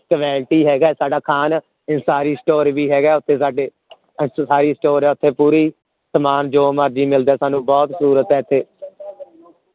ਇਕ relative ਹੈਗਾ ਹੈ ਸਾਡਾ ਖਾਣ ਤੇ store ਵੀ ਹੈਗਾ store ਹੈ ਓਥੇ ਸਾਡੇ ਓਥੇ ਪੂਰੀ ਸਮਾਨ ਜੋ ਮਰਜੀ ਮਿਲਦਾ ਹੈ ਸਾਨੂ ਬਹੁਤ ਸਹੂਲੀਅਤ ਹੈ ਇਥੇ